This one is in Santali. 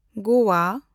ᱜᱳᱣᱟ